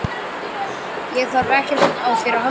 Ég þarf ekkert á þér að halda.